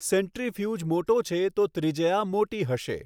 Centrifuge મોટો છે તો ત્રિજ્યા મોટી હશે.